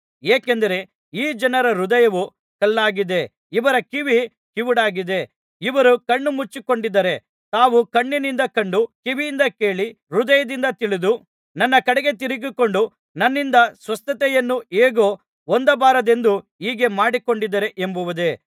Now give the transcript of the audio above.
ಏಕೆಂದರೆ ಈ ಜನರ ಹೃದಯವು ಕಲ್ಲಾಗಿದೆ ಇವರ ಕಿವಿ ಕಿವುಡಾಗಿದೆ ಇವರು ಕಣ್ಣು ಮುಚ್ಚಿಕೊಂಡಿದ್ದಾರೆ ತಾವು ಕಣ್ಣಿನಿಂದ ಕಂಡು ಕಿವಿಯಿಂದ ಕೇಳಿ ಹೃದಯದಿಂದ ತಿಳಿದು ನನ್ನ ಕಡೆಗೆ ತಿರುಗಿಕೊಂಡು ನನ್ನಿಂದ ಸ್ವಸ್ಥತೆಯನ್ನು ಹೇಗೂ ಹೊಂದಬಾರದೆಂದು ಹೀಗೆ ಮಾಡಿಕೊಂಡಿದ್ದಾರೆ ಎಂಬುದೇ